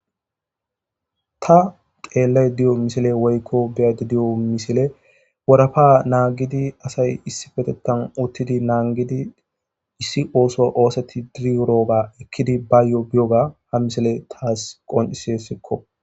ta xeellayidiyo misile woykko biyade de'yo misile warafa naagidi asay issifetettan uttidi naangidi issi ooso oosetti diriurooba ekkidi bayyo biyoga ha misile taas qonicessikko